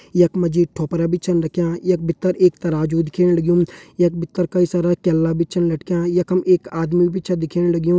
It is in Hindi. यख मा जी ठोपरा भी छन रख्यां यख भितर एक तराजू दिखेण लग्युं यख भितर कई सारा केला भी छन लटक्यां यखम एक आदमी भी छा दिखेण लग्युं।